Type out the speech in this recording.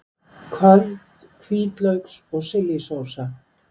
Köld hvítlauks og chili sósa